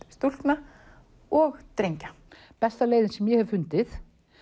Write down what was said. stúlkna og drengja besta leiðin sem ég hef fundið